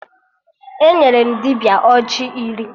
Enyere m dibịa ọjị iri